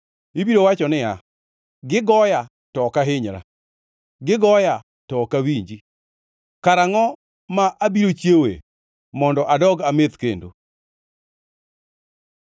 Ibiro wacho niya, “Gigoya, to ok ahinyra! Gigoya, to ok awinji! Karangʼo ma abiro chiewoe mondo adog ameth kendo?”